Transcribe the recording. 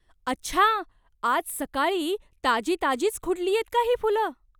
अच्छा! आज सकाळी ताजी ताजीच खुडलीयेत का ही फुलं?